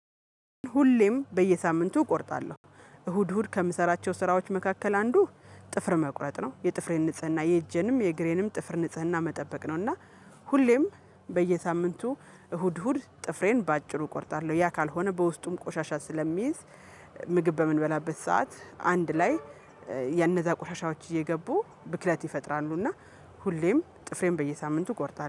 ሁሌም በየሳምንቱ እቆርጣለሁ እሁድ እሁድ ከምሰራቸው ስራዎች መካከል አንዱ ጥፍር መቁረጥ ነው የጥፍሬን ንጽህና የእጄንም የእግሬንም ጥፍር ንጽህና መጠበቅ ነው። እና ሁሌም በየሳምንቱ እሁድ እሁድ ጥፍሬን በአጭሩ እቆርጣለሁ ያ ካልሆነ በውስጡም ቆሻሻ ስለሚይዝ ምግብ በምንበላበት ሰዓት አንድ ላይ የነዛ ቆሻሻዎች እየገቡ ብክለት ይፈጥራሉ። እና ሁሌም ጥፍሬን በየሳምንቱ እቆርጣለሁ